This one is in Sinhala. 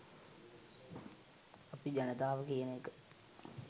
අපි ජනතාව කියන එක